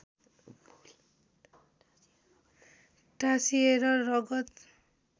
टाँसिएर रगत